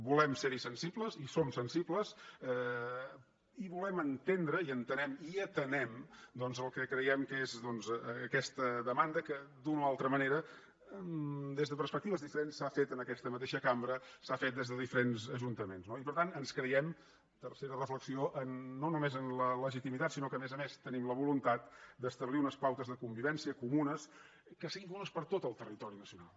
volem ser hi sensibles hi som sensibles i volem entendre i entenem i atenem doncs el que creiem que és aquesta demanda que d’una o altra manera des de perspectives diferents s’ha fet en aquesta mateixa cambra s’ha fet des de diferents ajuntaments no i per tant ens creiem tercera reflexió no només amb la legitimitat sinó que a més a més tenim la voluntat d’establir unes pautes de convivència comunes que siguin comunes per a tot el territori nacional